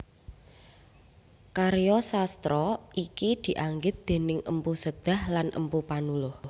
Karya sastra iki dianggit déning Mpu Sedah lan Mpu Panuluh